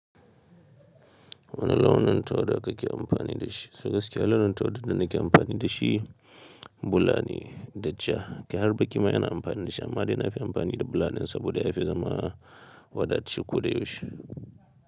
Wani launin tawa da ka ke amfani da shi, so Gaskiya launin tawq dar da nake amfani da shi bulane da ja. Kai harba ƙima ina amfani da shi amma dai na fi amfani da bulaɗin saboda ya fi zama wada ce ko da yaushe.